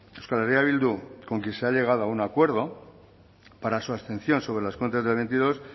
euskal herria bildu con quien se ha llegado a un acuerdo para su abstención sobre las cuentas del dos mil veintidós